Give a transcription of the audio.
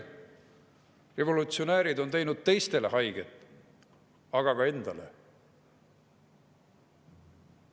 Revolutsionäärid on teinud teistele haiget, aga ka endale.